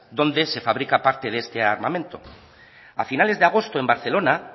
dónde se fabrica parte de este armamento a finales de agosto en barcelona